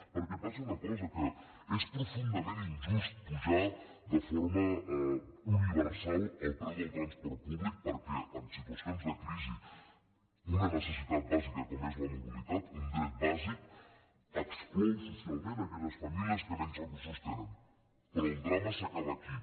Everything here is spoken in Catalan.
perquè passa una cosa que és profundament injust apujar de forma universal el preu del transport públic perquè en situacions de crisi una necessitat bàsica com és la mobilitat un dret bàsic exclou socialment aque·lles famílies que menys recursos tenen però el drama s’acaba aquí